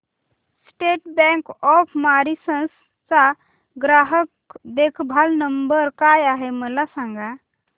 state bank of Mauritius चा ग्राहक देखभाल नंबर काय आहे मला सांगा